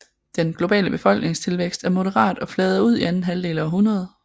Den globale befolkningstilvækst er moderat og flader ud i anden halvdel af århundredet